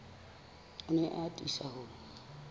o ne a atisa ho